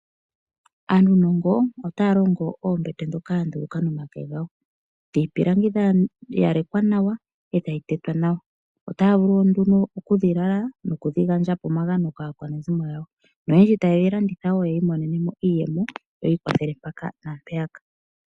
Aanunongo otaalongo oombete ndhoka dhuuka momake ngawo dhiipilangi dha yalekwa nawa etadhi tetwa nawa otaavulu nduno okudhilala nokudhi gandja po omagano kaakwanezimo yawo noyendji taalanditha yiimonenemo iiyemo yiikwathele mpano naampano.